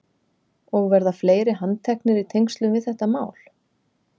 Og verða fleiri handteknir í tengslum við þetta mál?